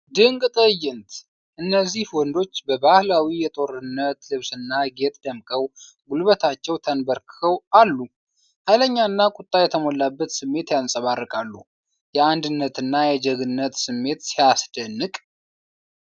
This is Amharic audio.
ድንቅ ትዕይንት! እነዚህ ወንዶች በባህላዊ የጦርነት ልብስና ጌጥ ደምቀው ጉልበታቸው ተንበርክከው አሉ። ኃይለኛና ቁጣ የተሞላበት ስሜት ያንጸባርቃሉ። የአንድነትና የጀግንነት ስሜት ሲያስደንቅ!